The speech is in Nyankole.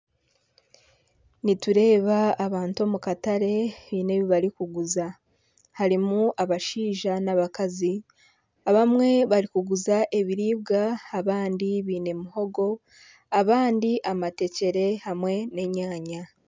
Nitureeba abantu omu katare baine ebibarikuguza harimu abashaija n'abakazi ,abamwe nibaguza ebiriibwa abandi baine muhogo abandi amatekyere hamwe n'enyanya.